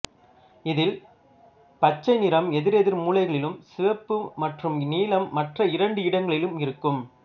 இதில் பச்சை நிறம் எதிரெதிர் மூலைகளிலும் சிவப்பு மற்றும் நீலம் மற்ற இரண்டு இடங்களிலும் இருக்கும்